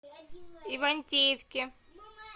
ивантеевке